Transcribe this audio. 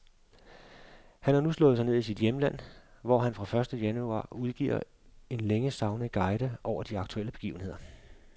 Han har nu slået sig ned i sit hjemland, hvor han fra første januar udgiver en længe savnet guide over de aktuelle begivenheder.